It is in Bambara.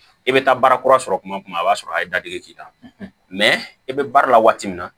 E bɛ taa baara kura sɔrɔ kuma o b'a sɔrɔ a ye dadigi k'i la i bɛ baara la waati min na